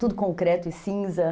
Tudo concreto e cinza.